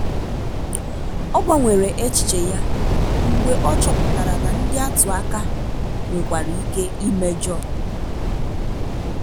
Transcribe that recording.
ọ gbanwere echiche ya mgbe ọ chọpụtara na ndị atụ aka nwekwara ike imejo.